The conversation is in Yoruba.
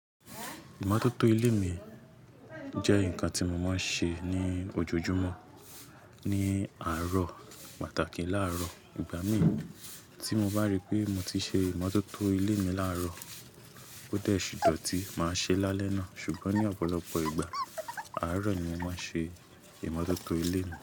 Ìmọ́tótó ilé mi jẹ́ nǹkan tí mo máa ń ṣe ní ojoojúmọ́ ní àárọ̀, pàtàkì láàárọ̀. Ìgbà mìí tí mo bá ríi pé mo ti ṣe ìmọ́tótó ilé mi láàárọ̀, ó dẹ̀ ṣìdọ̀tí máa ṣe é lálẹ́ náà. Ṣùgbọ́n ní ọ̀pọ̀lọpọ̀ ìgbà, àárọ̀ ni mo máa ń ṣe ìmọ́tótó ilé mi.